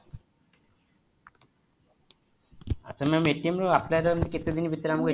ଆଚ୍ଛା mam apply କଲେ କେତେଦିନ ଭିତରେ